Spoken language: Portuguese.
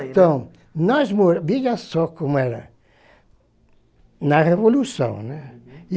Então, nós mo, veja só como era na Revolução, né? Uhum. E